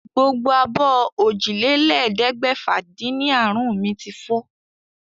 Gbogbo abọ́ òjìlélẹ́ẹ̀ẹ́dẹ́gbẹ́fà-dín-ní àrún mi ti fọ́.